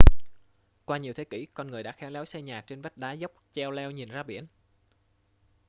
qua nhiều thế kỷ con người đã khéo léo xây nhà trên vách đá dốc cheo leo nhìn ra biển